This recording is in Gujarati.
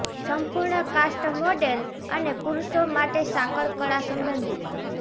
સંપૂર્ણ કાસ્ટ મોડેલ અને પુરુષો માટે સાંકળ કડા સંબંધિત